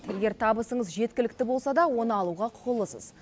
егер табысыңыз жеткілікті болса да оны алуға құқылысыз